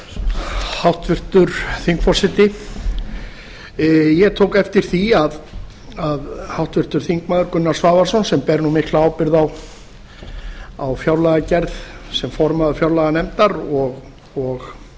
hæstvirtur forseti ég tók eftir því að háttvirtir þingmenn gunnar svavarsson sem ber mikla ábyrgð á fjárlagagerð sem formaður fjárlaganefndar og